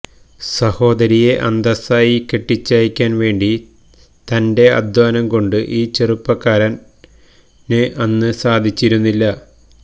സഹോദരിയെ അന്തസ്സായി കെട്ടിച്ചയക്കാൻ വേണ്ടി തന്റെ അധ്വാനം കൊണ്ട് ഈ ചെറുപ്പക്കാരന് അന്ന് സാധിച്ചിരുന്നില്ല